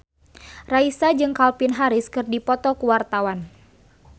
Raisa jeung Calvin Harris keur dipoto ku wartawan